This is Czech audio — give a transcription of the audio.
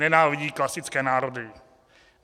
Nenávidí klasické národy.